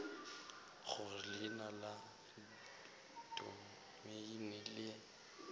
gore leina la domeine le